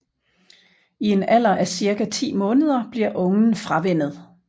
I en alder af cirka 10 måneder bliver ungen fravænnet